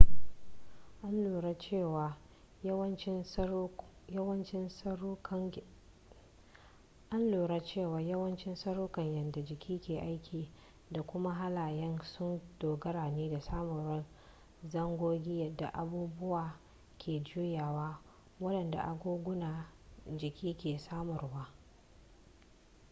an lura cewa yawancin tsarukan yadda jiki ke aiki da kuma halayya sun dogara ne da samuwar zangogi yadda abubuwa ke juyawa wadanda agogunan jiki ke samarwa